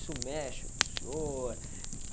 Isso mexe com o senhor?